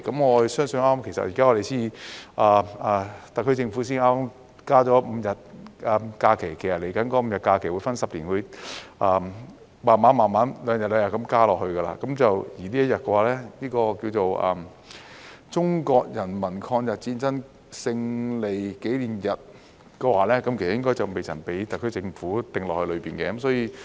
我相信特區政府才剛剛增加了5日假期，未來這5天假期會分10年慢慢地每兩年增加一天，而名為"中國人民抗日戰爭勝利紀念日"的這一天應該未被特區政府加入其中。